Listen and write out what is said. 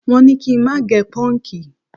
Wọn ní kí n má gẹ pọ́ǹgì